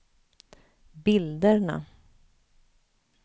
bilderna